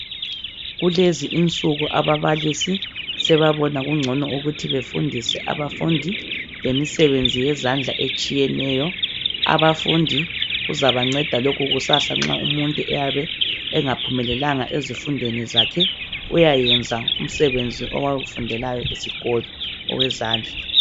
Kulezi insuku ababalisi sebabona kungcono ukuthi befundise abafundi lemisebenzi yezandla etshiyeneyo abafundi kuzabanceda lokhu kusasa nxa umuntu eyabe engaphumelelanga ezifundweni zakhe uyenza umsebenzi wezandla awufundelayo esikolo owezandla